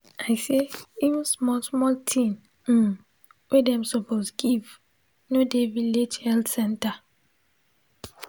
i say even small small thing um wey dem suppose give no dey village health center.